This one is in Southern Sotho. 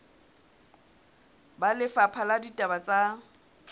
ba lefapha la ditaba tsa